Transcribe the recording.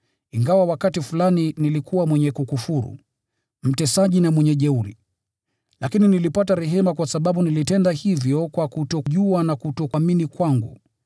Ingawa wakati fulani nilikuwa mwenye kukufuru, mtesaji na mwenye jeuri, lakini nilipata rehema kwa sababu nilitenda hivyo kwa kutojua na kutoamini kwangu.